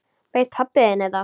Veit pabbi þinn þetta?